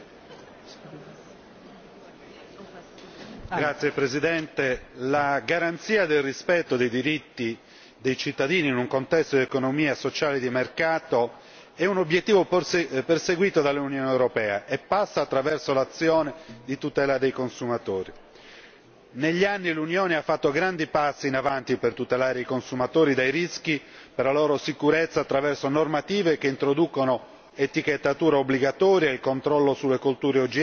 Signora Presidente, onorevoli colleghi, la garanzia del rispetto dei diritti dei cittadini in un contesto di economia sociale di mercato è un obiettivo perseguito dall'Unione europea e passa attraverso l'azione di tutela dei consumatori. Negli anni l'Unione ha fatto grandi passi in avanti per tutelare i consumatori dai rischi per la loro sicurezza attraverso normative che introducono l'etichettatura obbligatoria, il controllo sulle colture OGM,